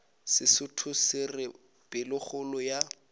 sesotho se re pelokgolo ya